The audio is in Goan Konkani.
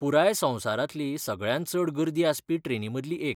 पुराय संवसारांतली सगळ्यांत चड गर्दी आसपी ट्रेनींमदली एक.